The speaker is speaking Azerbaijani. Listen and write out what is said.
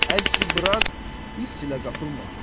Əczi burax, hiss ilə qapılma.